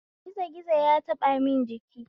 Gizo gizo ya taɓamun jiki